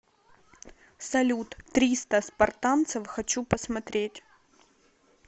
салют триста спартанцев хочу посмотреть